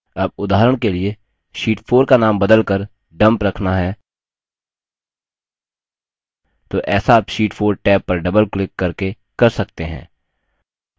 अब उदाहरण के लिए sheet 4 का now बदलकर dump रखना है तो ऐसा आप sheet 4 टैब पर double क्लिक करके कर सकते हैं